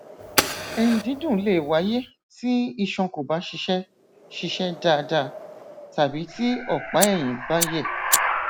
ẹyìndídùn le wáyé tí iṣan kò bá ṣiṣẹ ṣiṣẹ dáadáa tàbí tí ọpáẹyìn bá yẹ